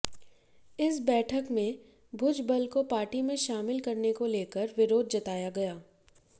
इस बैठक में भुजबल को पार्टी में शामिल करने को लेकर विरोध जताया गया